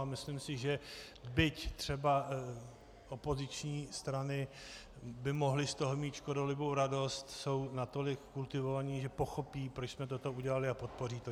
A myslím si, že byť třeba opoziční strany by mohly z toho mít škodolibou radost, jsou natolik kultivovaní, že pochopí, proč jsme toto udělali, a podpoří to.